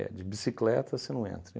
É, de bicicleta você não entra.